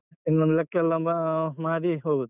ಇನ್ನು ಲೆಕ್ಕ ಎಲ್ಲ ಅಹ್ ಮಾಡಿ ಹೋಗುದು.